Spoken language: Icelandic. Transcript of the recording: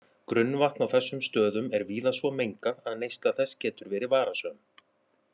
Grunnvatn á þessum stöðum er víða svo mengað að neysla þess getur verið varasöm.